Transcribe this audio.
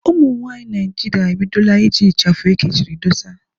Ụmụnwaanyị Naịjirịa ebidola iji ịchafụ ekechiri dósa